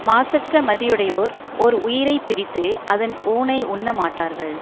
மாசற்ற மதியுடையோர் ஓர் உயிரை பிரித்து அதன் ஊனை உண்ண மாட்டார்கள்